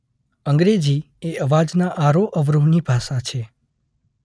અંગ્રેજી એ અવાજના આરોહ-અવરોહ ની ભાષા છે.